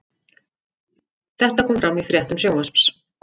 Þetta kom fram í fréttum Sjónvarps